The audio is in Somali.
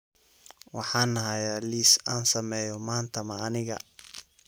Waxaan hayaa liis aan sameeyo maanta ma aniga